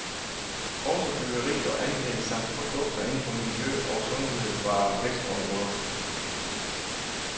Også byggeri og anlæg samt produkter inden for miljø og sundhed var vækstområder.